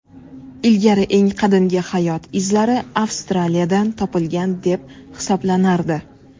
Ilgari eng qadimgi hayot izlari Avstraliyadan topilgan deb hisoblanardi.